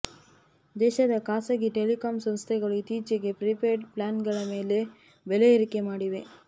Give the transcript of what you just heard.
ದೇಶದ ಖಾಸಗಿ ಟೆಲಿಕಾಂ ಸಂಸ್ಥೆಗಳು ಇತ್ತೀಚಿಗೆ ಪ್ರೀಪೇಡ್ ಪ್ಲ್ಯಾನ್ಗಳ ಬೆಲೆ ಏರಿಕೆ ಮಾಡಿವೆ